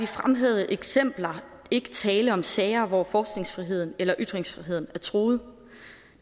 fremhævede eksempler ikke tale om sager hvor forskningsfriheden eller ytringsfriheden er truet